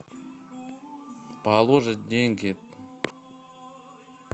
положить деньги